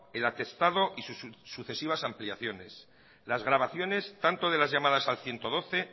el atestado y sus sucesivas ampliaciones las grabaciones tanto de las llamadas al ciento doce